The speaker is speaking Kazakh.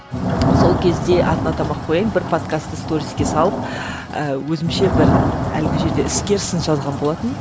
сол кезде атын атамай ақ кояйын бір подкастты сториске салып ііі өзімше бір әлгі жерде іскер сын жазған болатынмын